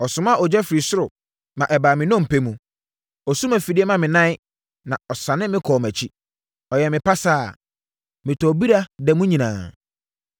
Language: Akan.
“Ɔsomaa ogya firi ɔsoro, ma ɛbaa me nnompe mu. Ɔsum afidie maa me nan na ɔsane me kɔɔ mʼakyi. Ɔyɛɛ me pasaa, metɔɔ bira da mu nyinaa.